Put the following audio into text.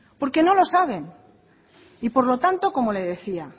porque no lo saben y por lo tanto como le decía